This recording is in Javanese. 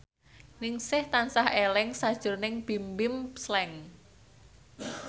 Ningsih tansah eling sakjroning Bimbim Slank